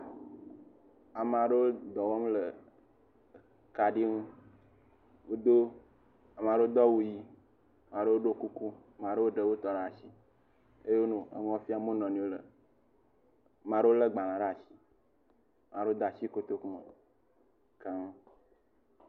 Ame aɖewo le dɔwɔm le kaɖi ŋu wodo, ame aɖewo do awu ʋi, ame aɖewo do kuku ame aɖewo ɖe wotɔ ɖe asi eye wonɔ enu fiam wo nɔewo le agbalẽ dzi.